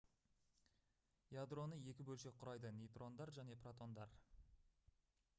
ядроны екі бөлшек құрайды нейтрондар және протондар